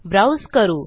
browse करू